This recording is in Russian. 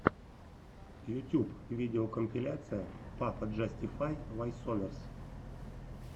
ютьюб видеокомпиляция пападжастифай войсоверс